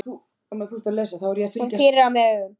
Hún pírir á mig augun.